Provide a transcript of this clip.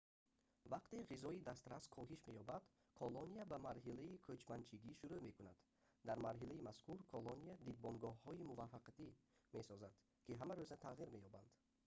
вақте ғизои дастрас коҳиш меёбад колония ба марҳилаи кӯчманчигӣ шурӯъ мекунад дар марҳилаи мазкур колония дидбонгоҳҳои муваққатӣ месозад ки ҳамарӯза тағйир меёбанд